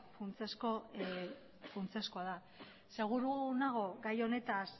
funtsezko funtsezkoa da seguru nago gai honetaz